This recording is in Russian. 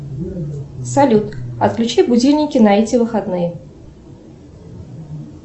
салют отключи будильники на эти выходные